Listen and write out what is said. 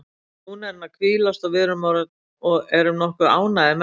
Núna er hann að hvílast og við erum nokkuð ánægðir með það.